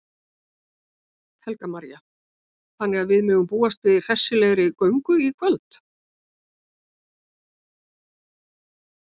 Helga María: Þannig að við megum búast við hressri göngu í kvöld?